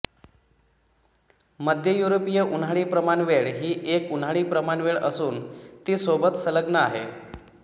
मध्य युरोपीय उन्हाळी प्रमाणवेळ ही एक उन्हाळी प्रमाणवेळ असून ती सोबत संलग्न आहे